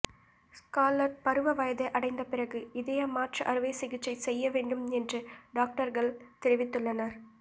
scarlet பருவ வயதை அடைந்த பிறகு இதய மாற்று அறுவை சிகிச்சை செய்ய வேண்டும் என்று டாக்டர்கள் தெரிவித்துள்ளனர்